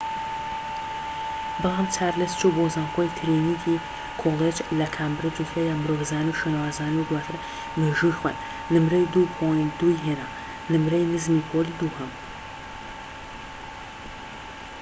بەڵام چارلز چوو بۆ زانکۆی ترینیتی کۆلیج لە کامبرج و تیایدا مرۆڤزانی و شوێنەوارزانی و دواتر مێژووی خوێند، نمرەی ٢:٢ ی هێنا نمرەی نزمی پۆلی دووهەم